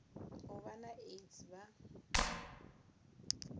u vha na aids vha